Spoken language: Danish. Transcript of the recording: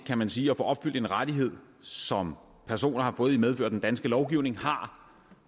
kan man sige at opfylde en rettighed som personer har fået i medfør af den danske lovgivning har